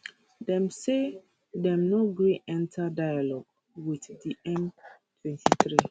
dem say dem no gree enta dialogue wit di m23